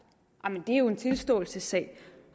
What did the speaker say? det er jo en tilståelsessag